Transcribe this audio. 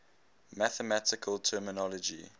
mathematical terminology